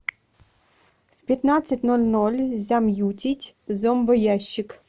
в пятнадцать ноль ноль замьютить зомбоящик